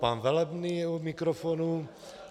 Pan Velebný je u mikrofonu.